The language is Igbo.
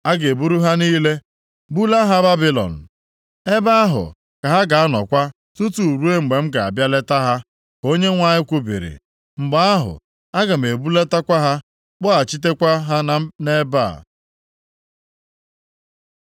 ‘A ga-eburu ha niile bulaa ha Babilọn. Ebe ahụ ka ha ga-anọkwa tutu ruo mgbe m ga-abịa leta ha,’ ka Onyenwe anyị kwubiri. ‘Mgbe ahụ, aga m ebulatakwa ha, kpọghachitekwa ha nʼebe a.’ ”